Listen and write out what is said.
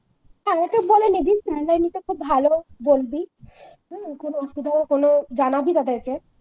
নি sir রা এমনিতে খুব ভালোই বলবি হম কোন অসুবিধা হলে কোন জানাবি তাদেরকে